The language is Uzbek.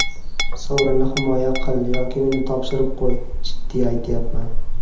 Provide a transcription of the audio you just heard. Sovrinni himoya qil yoki uni topshirib qo‘y, jiddiy aytyapman.